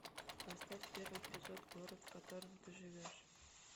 поставь первый эпизод город в котором ты живешь